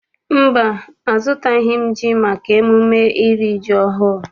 Mba, azụtabeghị m ji maka emume iri ji ọhụụ.